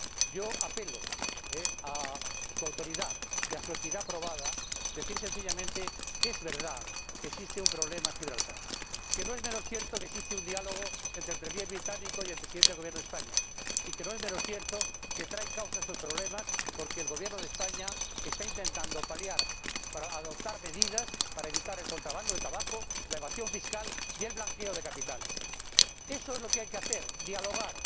Yo apelo a su autoridad y a su equidad probada para decir sencillamente que es verdad que existe un problema en Gibraltar, que no es menos cierto que existe un diálogo entre el Primer Ministro británico y el Presidente del Gobierno de España y que no es menos cierto que traen causa estos problemas de que el Gobierno de España está intentando adoptar medidas para evitar el contrabando de tabaco, la evasión fiscal y el blanqueo de capitales. Eso es lo que hay que hacer dialogar.